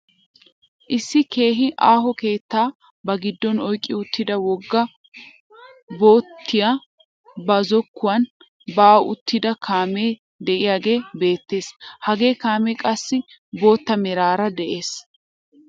Issi keehi aaho keettaa ba giddon oyqqi uttida wogga bottiyaa ba zokkuwaan ba'i uttida kaamee de'iyaagee beettees. hagee kaamee qassi bootta meraara de'ees.